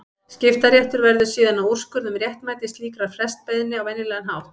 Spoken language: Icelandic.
Skiptaréttur verður síðan að úrskurða um réttmæti slíkrar frestbeiðni á venjulegan hátt.